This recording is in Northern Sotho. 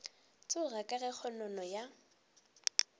tšhoga ka ge kgonono ya